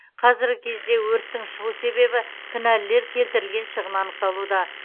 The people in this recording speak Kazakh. қазіргі кезде өрттің шығу себебі кінәлілер келтірілген шығын анықталуда